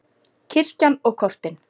Kirkjan og kortin.